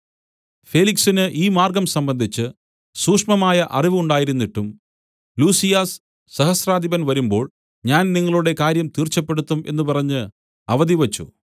ഫേലിക്സിന് ഈ മാർഗ്ഗം സംബന്ധിച്ച് സൂക്ഷ്മമായ അറിവ് ഉണ്ടായിരുന്നിട്ടും ലുസിയാസ് സഹസ്രാധിപൻ വരുമ്പോൾ ഞാൻ നിങ്ങളുടെ കാര്യം തീർച്ചപ്പെടുത്തും എന്നു പറഞ്ഞ് അവധിവച്ച്